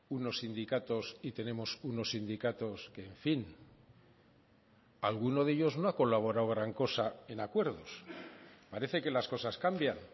unos sindicatos y tenemos unos sindicatos que en fin alguno de ellos no ha colaborado gran cosa en acuerdos parece que las cosas cambian